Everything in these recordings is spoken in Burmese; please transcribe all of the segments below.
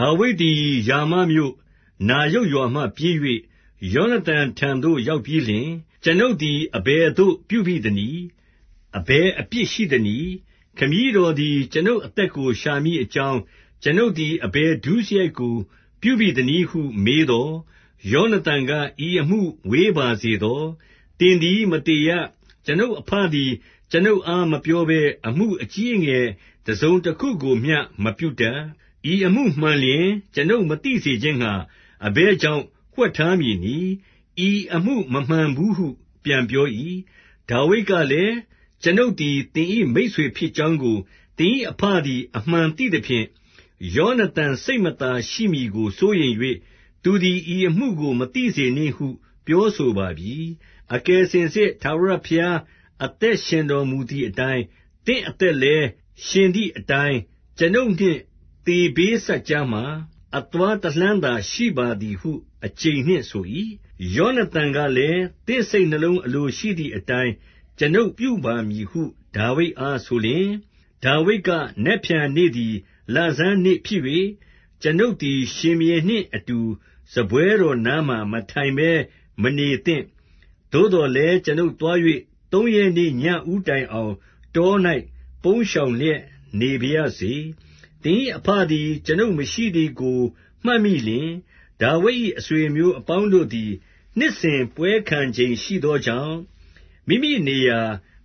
ဒါဝိဒ်သည် ရာမမြို့၊ နာယုတ်ရွာမှပြေး၍ ယောနသန်ထံသို့ ရောက်ပြီးလျှင်၊ ကျွန်ုပ်သည် အဘယ်သို့ ပြုဘိသနည်း။ အဘယ်အပြစ် ရှိသနည်း။ ခမည်းတော်သည် ကျွန်ုပ်အသက်ကို ရှာမည်အကြောင်း၊ ကျွန်ုပ်သည် အဘယ်ဒုစရိုက်ကို ပြုဘိသနည်းဟု မေးသော်၊ 2 ယောနသန်က၊ ဤအမှုဝေးပါစေသော။ သင်သည် မသေရ။ ကျွန်ုပ်အဘသည် ကျွန်ုပ်အား မပြောဘဲ အမှုအကြီးအငယ် တစုံတခုကိုမျှ မပြုတတ်။ ဤအမှုမှန်လျှင် ကျွန်ုပ်မသိစေခြင်းငှါ အဘယ်ကြောင့် ဝှက်ထားမည်နည်း။ ဤအမှုမမှန်ဘူးဟု ပြန်ပြော၏။ 3 ဒါဝိဒ်ကလည်း၊ ကျွန်ုပ်သည် သင်၏ မိတ်ဆွေဖြစ်ကြောင်းကို သင်၏ အဘသည် အမှန်သိသဖြင့်၊ ယောနသန်စိတ်မသာ ရှိမည်စိုးရိမ်၍ သူသည် ဤအမှုကို မသိစေနှင့်ဟု ပြောဆိုပါပြီ။ အကယ်စင်စစ် ထာဝရဘုရား အသက်ရှင်တော်မူသည်အတိုင်း၊ သင့်အသက်လည်း ရှင်သည်အတိုင်း၊ ကျွန်ုပ်နှင့် သေဘေးစပ်ကြားမှာ အသွားတလှမ်းသာ ရှိပါသည်ဟု အကျိန်နှင့် ဆို၏။ 4 ယောနသန်ကလည်း၊ သင့်စိတ်နှလုံး အလိုရှိသည်အတိုင်း ကျွန်ုပ်ပြုပါမည်ဟု ဒါဝိဒ်အားဆိုလျှင်၊ 5 ဒါဝိဒ်က၊ နက်ဖြန်နေ့သည် လဆန်းနေ့ဖြစ်၍၊ ကျွန်ုပ်သည် ရှင်ဘုရင်နှင့်အတူ စားတော်ပွဲနားမှာ မထိုင်ဘဲ မနေသင့်။ သို့သော်လည်း ကျွန်ုပ်သွား၍ သုံးရက်နေ့ ညဦးတိုင်အောင် တော၌ ပုန်းရှောင်လျက် နေပါရစေ။ 6 သင်၏ အဘသည် ကျွန်ုပ်မရှိသည်ကို မှတ်မိလျှင်၊ ဒါဝိဒ်၏ အဆွေအမျိုးအပေါင်းတို့သည် နှစ်စဉ်ပွဲ ခံချိန်ရှိသောကြောင့်၊ မိမိနေရာ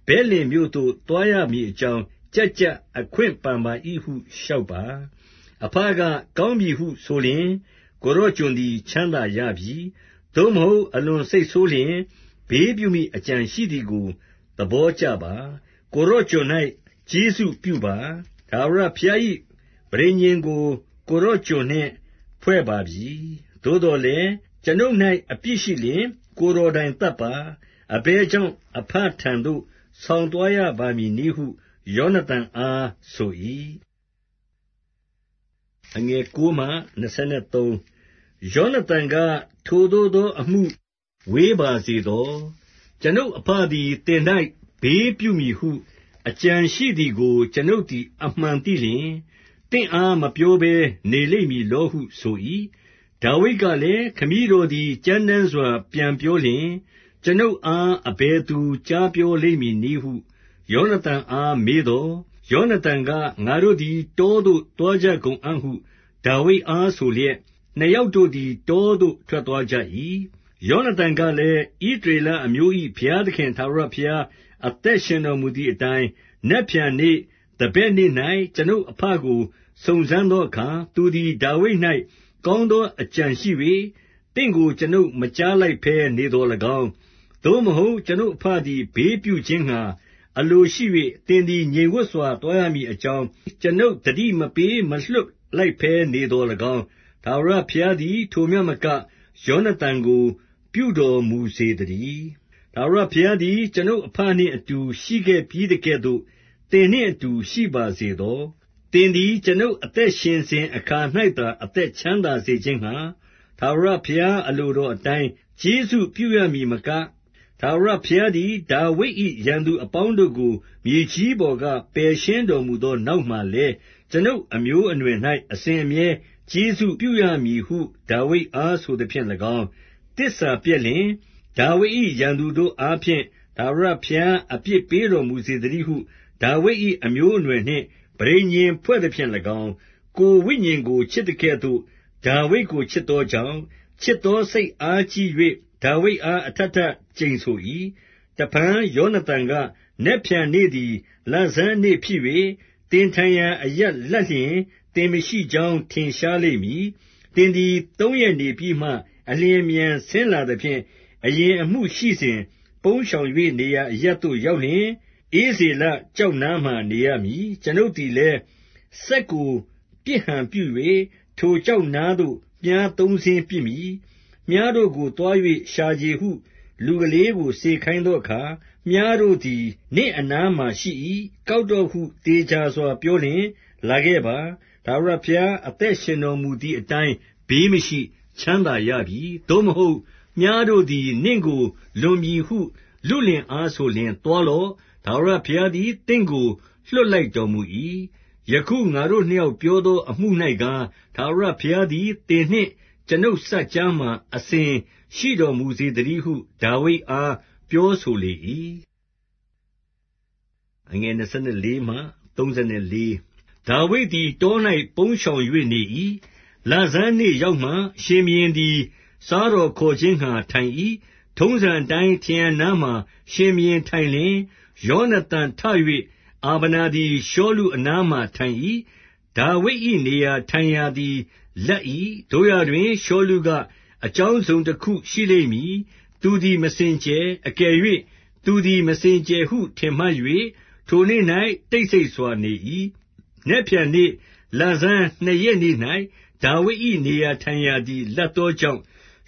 ဗက်လင်မြို့သို့ သွားရမည်အကြောင်း၊ ကျပ်ကျပ်အခွင့်ပန်ပါ၏ဟု လျှောက်ပါ။ 7 အဘက ကောင်းပြီဟုဆိုလျှင်၊ ကိုယ်တော်ကျွန်သည် ချမ်းသာရပြီ။ သို့မဟုတ် အလွန်စိတ်ဆိုးလျှင်၊ ဘေးပြုမည် အကြံရှိသည်ကို သဘောကျပါ။ 8 ကိုယ်တော်ကျွန်၌ ကျေးဇူးပြုပါ။ ထာဝရဘုရား၏ ပဋိညာဉ်ကို ကိုယ်တော်ကျွန်နှင့် ဖွဲ့ပါပြီ။ သို့သော်လည်း ကျွန်ုပ်၌ အပြစ်ရှိလျှင် ကိုယ်တော်တိုင် သတ်ပါ။ အဘယ်ကြောင့် အဘထံသို့ ဆောင်သွားရပါမည်နည်းဟု ယောနသန်အားဆို၏။ 9 ယောနသန်က ထိုသို့သောအမှု ဝေးပါစေသော။ ကျွန်ုပ်အဘသည် သင်၌ ဘေးပြုမည်ဟု အကြံ ရှိသည်ကို ကျွန်ုပ်သည် အမှန်သိလျှင် သင့်အား မပြောဘဲနေလိမ့်မည်လောဟု ဆို၏။ 10 ဒါဝိဒ်ကလည်း၊ ခမည်းတော်သည် ကြမ်းတမ်းစွာ ပြန်ပြောလျှင်၊ ကျွန်ုပ်အား အဘယ်သူ ကြားပြောလိမ့်မည်နည်းဟု မေးသော်၊ 11 ယောနသန်က၊ ငါတို့သည် တောသို့ သွားကြကုန်အံ့ဟု ဒါဝိဒ်အား ဆိုလျက်၊ နှစ်ယောက်တို့သည် တောသို့ထွက်သွားကြ၏။ 12 ယောနသန်ကလည်း၊ ဣသရေလအမျိုး၏ ဘုရားသခင် ထာဝရဘုရား အသက်ရှင်တော်မူသည်အတိုင်း၊ နက်ဖြန်နေ့၊ သဘက်နေ့၌ ကျွန်ုပ်အဘကို စုံစမ်းသောအခါ သူသည် ဒါဝိဒ်၌ ကောင်းသော အကြံရှိ၍ သင့်ကို ကျွန်ုပ်မကြားလိုက်ဘဲ နေသော်၎င်း၊ 13 သို့မဟုတ် ကျွန်ုပ်အဘသည် ဘေးပြုခြင်းငှါ အလိုရှိ၍ သင်သည် ငြိမ်ဝပ်စွာ သွားရမည်အကြောင်း၊ ကျွန်ုပ် သတိမပေး မလွှတ်လိုက်ဘဲ နေသော်၎င်း၊ ထာဝရဘုရားသည် ထိုမျှမက ယောနသန်ကို ပြုတော်မူစေသတည်း။ ထာဝရဘုရားသည် ကျွန်ုပ်အဘနှင့် အတူရှိခဲ့ပြီးသကဲ့သို့ သင်နှင့်အတူ ရှိပါစေသော။ 14 သင်သည် ကျွန်ုပ်အသက်ရှင်စဉ် အခါ၌သာ အသက်ချမ်းသာစေခြင်းငှါ ထာဝရဘုရား အလိုတော် အတိုင်း ကျေးဇူးပြုရမည်မက၊ 15 ထာဝရဘုရားသည် ဒါဝိဒ်၏ ရန်သူအပေါင်းတို့ကို မြေကြီးပေါ်က ပယ်ရှင်းတော်မူသော နောက်မှာလည်း၊ ကျွန်ုပ်အမျိုးအနွယ်၌ အစဉ်အမြဲ ကျေးဇူးပြုရမည်ဟု ဒါဝိဒ်အားဆိုသဖြင့်၎င်း၊ 16 သစ္စာပျက်လျှင် ဒါဝိဒ်၏ ရန်သူတို့အားဖြင့် ထာဝရဘုရား အပြစ်ပေးတော်မူစေသတည်းဟု ဒါဝိဒ်၏ အမျိုးအနွယ်နှင့် ပဋိညာဉ်ဖွဲ့သဖြင့်၎င်း၊ 17 ကိုယ်ဝိညာဉ်ကို ချစ်သကဲ့သို့ ဒါဝိဒ်ကို ချစ်သောကြောင့်၊ ချစ်သောစိတ်အားကြီး၍ ဒါဝိဒ်အား အထပ်ထပ်ကျိန်ဆို၏။ 18 တဖန် ယောနသန်က၊ နက်ဖြန်နေ့သည် လဆန်းနေ့ဖြစ်၍၊ သင်ထိုင်ရာအရပ် လပ်လျှင် သင်မရှိကြောင်း ထင်ရှားလိမ့်မည်။ 19 သင်သည် သုံးရက်နေပြီးမှ အလျင်အမြန် ဆင်းလာသဖြင့်၊ အရင်အမှုရှိစဉ် ပုန်းရှောင်၍ နေရာအရပ်သို့ ရောက်လျှင်၊ ဧဇေလ ကျောက်နားမှာ နေရမည်။ 20 ကျွန်ုပ်သည်လည်း၊ စက်ကို ပစ်ဟန်ပြု၍၊ ထိုကျောက်နားသို့ မြှားသုံးစင်းပစ်မည်။ 21 မြှားတို့ကို သွား၍ ရှာချေဟု လူကလေးကို စေခိုင်းသောအခါ၊ မြှားတို့သည် နင့်အနားမှာရှိ၏။ ကောက်တော့ဟု သေချာစွာ ပြောလျှင်လာခဲ့ပါ။ ထာဝရဘုရား အသက်ရှင်တော်မူသည်အတိုင်း ဘေးမရှိ၊ ချမ်းသာရပြီ။ 22 သို့မဟုတ်၊ မြှားတို့သည် နင့်ကို လွန်ပြီဟု လုလင်အား ဆိုလျှင် သွားလော့။ ထာဝရဘုရားသည် သင့်ကို လွှတ်လိုက်တော်မူ၏။ 23 ယခု ငါတို့နှစ်ယောက် ပြောသော အမှုသည်ကား၊ ထာဝရဘုရားသည် သင်နှင့် ကျွန်ုပ်စပ်ကြားမှာ အစဉ်ရှိတော်မူစေသတည်းဟု ဒါဝိဒ်အား ပြောဆိုလေ၏။ 24 ဒါဝိဒ်သည် တော၌ ပုန်းရှောင်၍ နေ၏။ လဆန်းနေ့ရောက်မှ ရှင်ဘုရင်သည် စားတော်ခေါ်ခြင်းငှါ ထိုင်၏။ 25 ထုံးစံအတိုင်းထရံနားမှာ ရှင်ဘုရင်ထိုင်လျှင်၊ ယောနသန်ထ၍ အာဗနာသည် ရှောလုအနားမှာ ထိုင်၏။ ဒါဝိဒ်၏ နေရာ ထိုင်ရာသည် လပ်၏။ 26 သို့ရာတွင် ရှောလုက အကြောင်းတစုံတခုရှိလိမ့်မည်။ သူသည် မစင်ကြယ်။ အကယ်၍ သူသည် မစင်ကြယ်ဟု ထင်မှတ်၍ ထိုနေ့၌ တိတ်ဆိတ်စွာနေ၏။ 27 နက်ဖြန်နေ့ လဆန်းနှစ်ရက်နေ့၌ ဒါဝိဒ်၏ နေရာထိုင်ရာသည် လပ်သောကြောင့်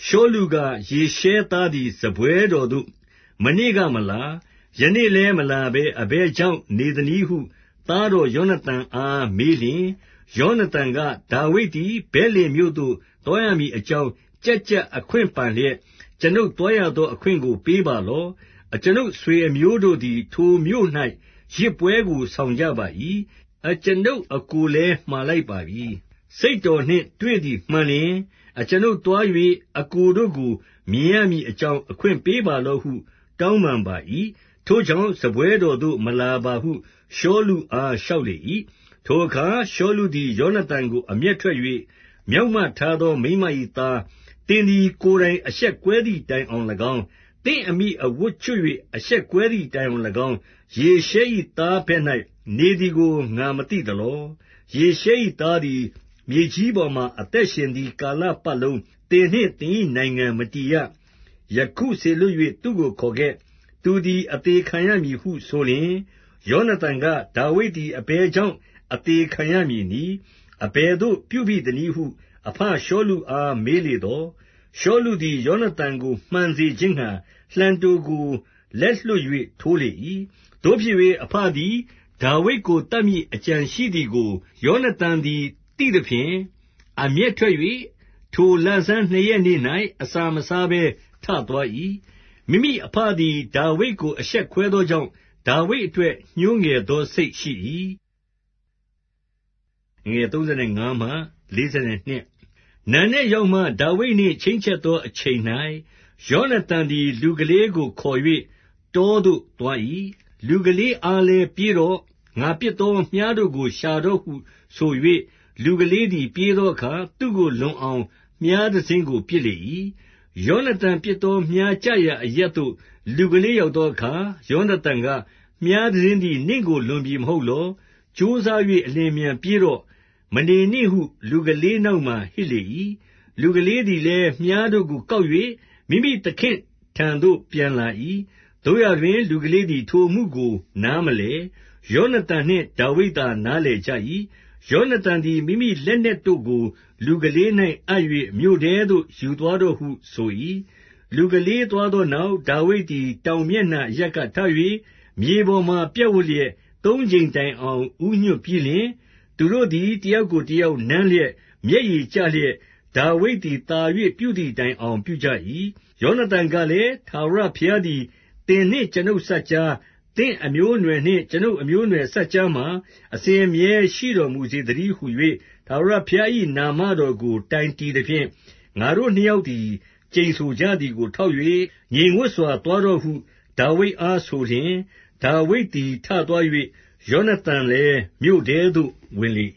ရှောလုက၊ ယေရှဲသားသည် စားပွဲတော်သို့ မနေ့ကမလာ၊ ယနေ့လည်း မလာဘဲ အဘယ်ကြောင့်နေသနည်းဟု သားတော် ယောနသန်အား မေးလျှင်၊ 28 ယောနသန်က၊ ဒါဝိဒ်သည် ဗက်လင်မြို့သို့ သွားရမည်အကြောင်း ကျပ်ကျပ်အခွင့်ပန်လျက်၊ 29 အကျွန်ုပ် သွားရသော အခွင့်ကို ပေးပါလော့။ အကျွန်ုပ် အဆွေအမျိုးတို့သည် ထိုမြို့၌ ယဇ်ပွဲကို ဆောင်ကြပါ၏။ အကျွန်ုပ် အစ်ကိုလည်းမှာလိုက်ပါပြီ။ စိတ်တော်နှင့် တွေ့သည်မှန်လျှင် အကျွန်ုပ်သွား၍ အစ်ကိုတို့ကို မြင်ရမည်အကြောင်း အခွင့်ပေးပါလော့ဟု တောင်းပန်ပါ၏။ ထို့ကြောင့် စားပွဲတော်သို့ မလာပါဟု ရှောလုအား လျှောက်လေ၏။ 30 ထိုအခါရှောလုသည် ယောနသန်ကို အမျက်ထွက်၍၊ မြောက်မထားသော မိန်းမ၏သား၊ သင်သည် ကိုယ်တိုင် အရှက်ကွဲသည်တိုင်အောင်၎င်း၊ သင့်အမိအဝတ်ကျွတ်၍ အရှက်ကွဲသည့်တိုင်အောင်၎င်း၊ ယေရှဲ၏သား ဘက်၌ နေသည်ကို ငါမသိသလော။ 31 ယေရှဲ၏သားသည် မြေကြီးပေါ်မှာ အသက်ရှင်သည်ကာလပတ်လုံး သင်နှင့် သင်၏နိုင်ငံ မတည်ရ။ ယခုစေလွှတ်၍ သူကိုခေါ်ခဲ့။ သူသည် အသေခံရမည်ဟုဆိုလျှင်၊ 32 ယောနသန်က၊ ဒါဝိဒ်သည် အဘယ်ကြောင့် အသေခံရမည်နည်း။ အဘယ်သို့ပြုဘိသနည်းဟု အဘရှောလုအား မေးလေသော်၊ 33 ရှောလုသည် ယောနသန်ကို မှန်စေခြင်းငှါ လှံတို့ကို လက်လွှတ်၍ ထိုးလေ၏။ သို့ဖြစ်၍ အဘသည် ဒါဝိဒ်ကို သတ်မည်အကြံရှိသည်ကို ယောနသန်သည် သိသဖြင့်၊ 34 အမျက်ထွက်၍၊ ထိုလဆန်းနှစ်ရက်နေ့၌ အစာမစားဘဲ ထသွား၏။ မိမိအဘသည် ဒါဝိဒ်ကို အရှက်ခွဲသောကြောင့် ဒါဝိဒ်အတွက် ညှိုးငယ်သောစိတ် ရှိ၏။ 35 နံနက်ရောက်မှ ဒါဝိဒ်နှင့် ချိန်းချက်သော အချိန်၌၊ ယောနသန်သည် လူကလေးကို ခေါ်၍ တောသို့ သွား၏။ 36 လူကလေးအား လည်းပြေးတော့။ ငါပစ်သော မြှားတို့ကို ရှာတော့ဟုဆို၍ လူကလေးသည် ပြေးသောအခါ သူ့ကို လွန်အောင်မြှားတစင်းကို ပစ်လေ၏။ 37 ယောနသန်ပစ်သော မြှားကျရာ အရပ်သို့ လူကလေးရောက်သောအခါ၊ ယောနသန်က၊ မြှားတစင်းသည် နင့်ကို လွန်ပြီမဟုတ်လော။ 38 ကြိုးစား၍ အလျင်အမြန်ပြေးတော့။ မနေနှင့်ဟု လူကလေးနောက်မှာ ဟစ်လေ၏။ လူကလေးသည်လည်း မြှားတို့ကို ကောက်၍ မိမိသခင့်ထံသို့ ပြန်လာ၏။ 39 သို့ရာတွင် လူကလေးသည် ထိုအမှုကို နားမလည်။ ယောနသန်နှင့် ဒါဝိဒ်သာ နားလည်ကြ၏။ 40 ယောနသန်သည် မိမိလက်နက်တို့ကို လူကလေး၌ အပ်၍ မြို့ထဲသို့ယူသွားတော့ဟု ဆို၏။ 41 လူကလေးသွားသောနောက်၊ ဒါဝိဒ်သည် တောင်မျက်နှာ အရပ်က ထ၍ မြေပေါ်မှာ ပြပ်ဝပ်လျက် သုံးကြိမ်တိုင်အောင် ဦးညွှတ်ပြီးလျှင်၊ သူတို့သည် တယောက်ကို တယောက်နမ်းလျက် မျက်ရည် ကျလျက်၊ ဒါဝိဒ်သည်သာ၍ ပြုသည်တိုင်အောင် ပြုကြ၏။ 42 ယောနသန်ကလည်း၊ ထာဝရဘုရားသည် သင်နှင့် ကျွန်ုပ်စပ်ကြား၊ သင့်အမျိုးအနွယ်နှင့် ကျွန်ုပ် အမျိုးအနွယ်စပ်ကြားမှာ အစဉ်အမြဲ ရှိတော်မူစေသတည်းဟူ၍ ထာဝရဘုရား၏ နာမတော်ကို တိုင်တည်သဖြင့်၊ ငါတို့နှစ်ယောက်သည် ကျိန်ဆိုကြသည်ကို ထောက်၍၊ ငြိမ်ဝပ်စွာ သွားတော့ဟု ဒါဝိဒ်အား ဆိုလျှင်၊ ဒါဝိဒ်သည် ထသွား၍ ယောနသန်လည်း မြို့ထဲသို့ ဝင်လေ